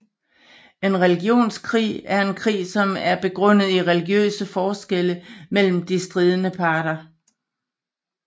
En religionskrig er en krig som er begrundet i religiøse forskelle mellem de stridende parter